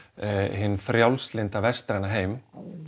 hinn frjálslynda vestræna heim